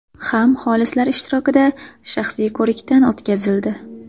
ham xolislar ishtirokida shaxsiy ko‘rikdan o‘tkazildi.